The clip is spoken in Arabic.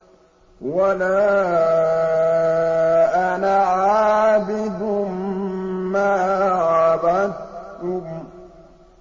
وَلَا أَنَا عَابِدٌ مَّا عَبَدتُّمْ